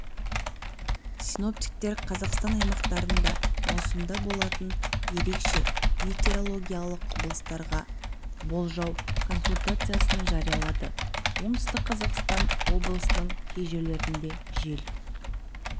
синоптиктер қазақстан аймақтарында маусымда болатын ерекше метеорологиялық құбылыстарға болжауконсультациясын жариялады оңтүстік қазақстан облысының кей жерлерінде жел